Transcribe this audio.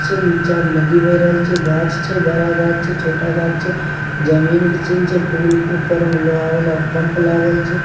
नीचे नदी बह रहल छै गाछ छै बड़ा गाछ छै छोटा गाछ छै जमीन के सीन छै पूल के ऊपर में उ लोहा वाला पंप लागल छै।